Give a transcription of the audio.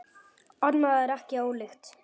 Annað er ekki ólíkt.